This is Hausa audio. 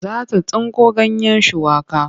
Za ta tsinko ganyen shuwaka.